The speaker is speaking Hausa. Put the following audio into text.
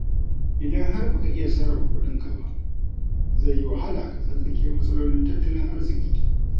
Idan har ba ka iya sarrafa kuɗinka ba, zai yi wahala ka tsallake matsalolin tattalin arziƙi.